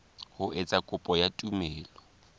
ho etsa kopo ya tumello